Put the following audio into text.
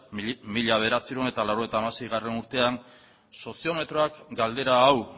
mila bederatziehun eta laurogeita hamaseigarrena urtean soziometroak galdera hau